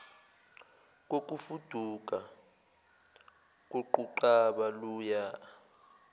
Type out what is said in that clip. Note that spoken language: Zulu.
kokufuduka koquqaba luya